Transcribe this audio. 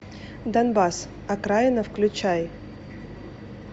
донбасс окраина включай